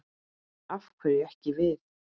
Af hverju ekki við?